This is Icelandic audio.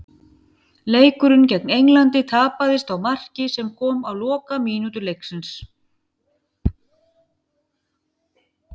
Leikurinn gegn Englandi tapaðist á marki sem kom á lokamínútu leiksins.